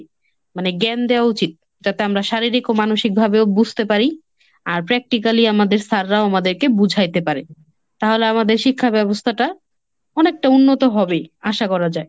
মানে জ্ঞান দেওয়া উচিত যাতে আমরা শারীরিক ও মানসিকভাবেও বুঝতে পারি আর practically আমাদের sir রাও আমাদেরকে বুঝাইতে পারে। তাহলে আমাদের শিক্ষা ব্যবস্থাটা অনেকটা উন্নত হবেই, আশা করা যায়।